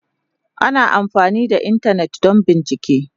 Ana amfani da Intanet don bincike.